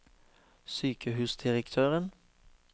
sykehusdirektøren